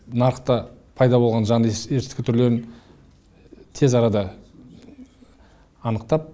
нарықта пайда болған жаңа есірткі түрлерін тез арада анықтап